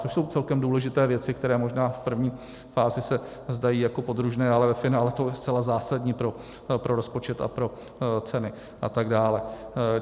Což jsou celkem důležité věci, které možná v první fázi se zdají jako podružné, ale ve finále je to zcela zásadní pro rozpočet a pro ceny a tak dále.